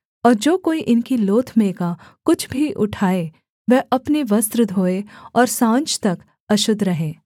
और जो कोई इनकी लोथ में का कुछ भी उठाए वह अपने वस्त्र धोए और साँझ तक अशुद्ध रहे